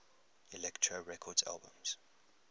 elektra records albums